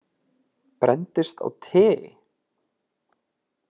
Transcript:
Brenndist á tei?